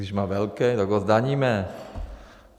Když má velkej, tak ho zdaníme.